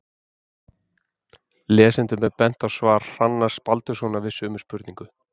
Lesendum er bent á svar Hrannars Baldurssonar við sömu spurningu.